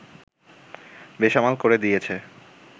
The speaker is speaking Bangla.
বেসামাল করে দিয়েছে